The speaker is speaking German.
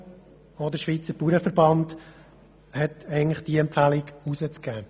Auch der Schweizer Bauernverband hat eigentlich diese Empfehlung herauszugeben.